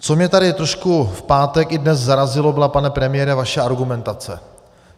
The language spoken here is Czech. Co mě tady trošku v pátek i dnes zarazilo, byla, pane premiére, vaše argumentace.